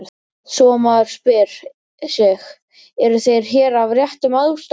Svo maður spyr sig: eru þeir hér af réttum ástæðum?